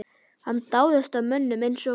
Hann dáðist að mönnum eins og